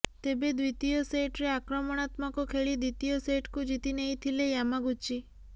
ତେବେ ଦ୍ୱିତୀୟ ସେଟ୍ରେ ଆକ୍ରମଣାତ୍ମକ ଖେଳି ଦ୍ୱିତୀୟ ସେଟକୁ ଜିତି ନେଇଥିଲେ ୟାମାଗୁଚି